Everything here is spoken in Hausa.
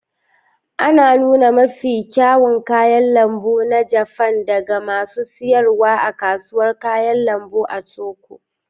Ana nuna mafi kyawun kayan lambu na Jafan daga masu siyarwa a Kasuwar Kayan lambu ta Tokyo.